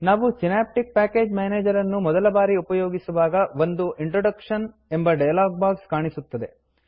ನಾವು Synaptic package manager ಅನ್ನು ಮೊದಲ ಬಾರಿ ಉಪಯೋಗಿಸುವಾಗ ಒಂದು ಇಂಟ್ರೊಡಕ್ಷನ್ ಇಂಟ್ರೋಡಕ್ಶನ್ ಎಂಬ ಡಯಲಾಗ್ ಬಾಕ್ಸ್ ಕಾಣಿಸುತ್ತದೆ